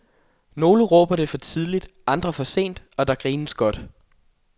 Nogle råber det for tidligt, andre for sent, og der grines godt.